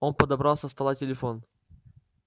он подобрал со стола телефон